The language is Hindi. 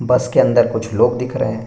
बस के अंदर कुछ लोग दिख रहें हैं।